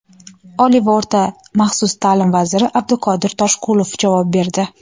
Oliy va o‘rta maxsus ta’lim vaziri Abduqodir Toshqulov javob berdi:.